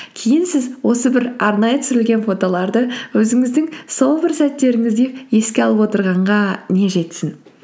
кейін сіз осы бір арнайы түсірілген фотоларды өзіңіздің сол бір сәттеріңізді еске алып отырғанға не жетсін